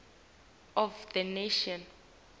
of the nation